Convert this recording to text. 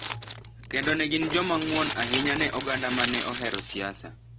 kendo ne gin joma ng’won ahinya ne oganda ma ne ohero siasa